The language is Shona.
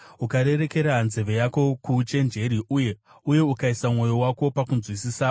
ukarerekera nzeve yako kuuchenjeri uye ukaisa mwoyo wako pakunzwisisa,